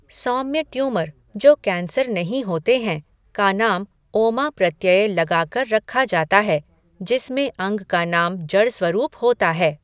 सौम्य tumour जो cancer नहीं होते हैं, का नाम ओमा प्रत्यय लगा कर रखा जाता है, जिसमें अंग का नाम जड़ स्वरूप होता है।